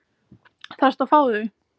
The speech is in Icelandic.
Þarftu að fá þau?